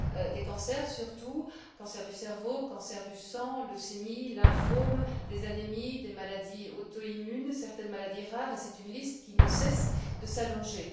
des cancers surtout cancer du cerveau, cancer du sang, leucémie, lymphome des anémies, des maladies auto immunes, de certaines maladies rares, et c'est une liste qui ne cesse de s'allonger.